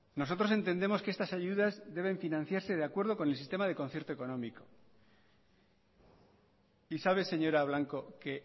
nosotros entendemos que estas ayudas deben financiarse de acuerdo con el sistema de concierto económico y sabe señora blanco que